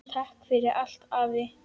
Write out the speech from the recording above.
Takk fyrir allt afi.